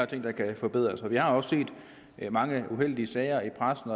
ting der kan forbedres vi har set mange uheldige sager i pressen